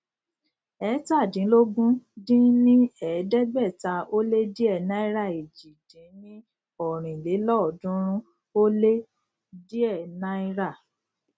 eétàdínlógún dín ní ẹẹdẹgbẹta ó lé díẹ náíràèjì dín ní ọrin lélọọdúnrún ó lé díẹ náírà